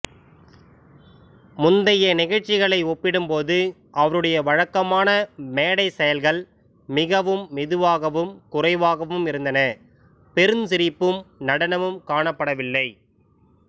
முந்தைய நிகழ்ச்சிகளை ஒப்பிடும்போது அவருடைய வழக்கமான மேடை செயல்கள் மிகவும் மெதுவாகவும் குறைவாகவும் இருந்தன பெருஞ்சிரிப்பும் நடனமும் காணப்படவில்லை